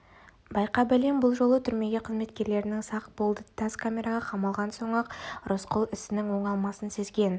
байқа бәлем бұл жолы түрме қызметкерлері сақ болды тас камераға қамалған соң-ақ рысқұл ісінің оңалмасын сезген